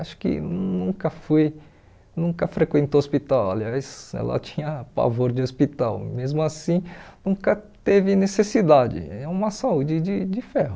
Acho que nunca fui, nunca frequentou o hospital, aliás, ela tinha pavor de hospital, mesmo assim nunca teve necessidade, é uma saúde de de ferro.